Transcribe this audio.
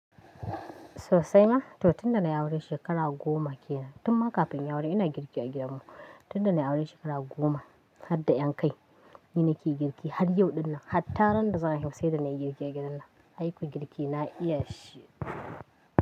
Sosai ma, to tunda na yi aure shekara goma ke nan. Tun ma kafin ya aure ina girki a gidan mu. Tunda na yi aure shekara goma, har da ƴan kai, ni nake yi girki har yau dinnan. Hatta randa za, a sai da nayi girke gidannan aiko girki na iya shi.